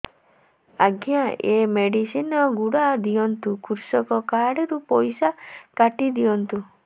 ଆଜ୍ଞା ଏ ମେଡିସିନ ଗୁଡା ଦିଅନ୍ତୁ କୃଷକ କାର୍ଡ ରୁ ପଇସା କାଟିଦିଅନ୍ତୁ